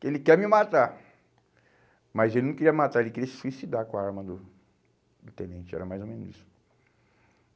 que ele quer me matar, mas ele não queria matar, ele queria se suicidar com a arma do do tenente, era mais ou menos isso.